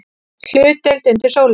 HLUTDEILD UNDIR SÓLINNI